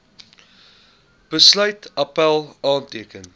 besluit appèl aanteken